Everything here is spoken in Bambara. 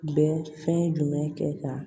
Bɛ fɛn jumɛn kɛ ka